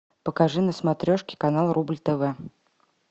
покажи на смотрешке канал рубль тв